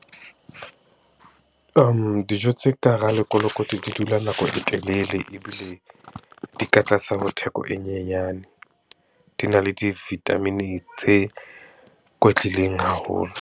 Dijo tse ka hara lekolokoti di dula nako e telele, ebile di ka tlasa ho theko e nyenyane. Di na le di-vitamin tse kwetlileng haholo.